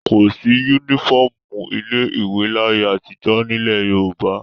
Kò sí únífọ́ọ́mù ilé-ìwé láyé àtijọ́ nílẹ̀ Yorùbá.